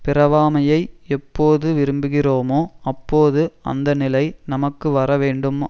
பிறவாமையை எப்போது விரும்புகிறோமோ அப்போது அந்த நிலை நமக்கு வர வேண்டும்